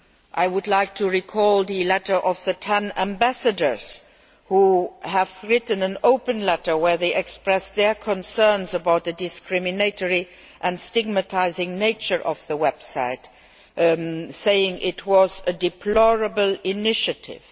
I would like to recall that ten ambassadors have written an open letter in which they express their concerns about the discriminatory and stigmatising nature of the website, saying it was a deplorable initiative.